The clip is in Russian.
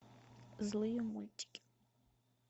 злые мультики